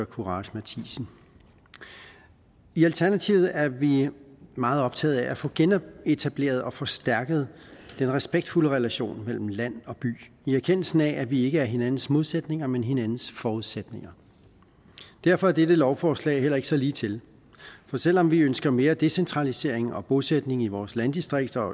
courage matthisen i alternativet er vi meget optaget af at få genetableret og forstærket den respektfulde relation mellem land og by i erkendelse af at vi ikke er hinandens modsætninger men hinandens forudsætninger derfor er dette lovforslag heller ikke så ligetil for selv om vi ønsker mere decentralisering og bosætning i vores landdistrikter og